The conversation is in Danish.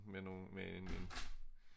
Med nogle med en